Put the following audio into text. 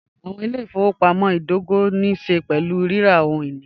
Awọn ilẹ̀-ifọwọpamọ̀ idògò ní ṣẹ̀ pẹ̀lú rírà ohun-ini.